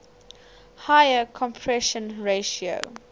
higher compression ratio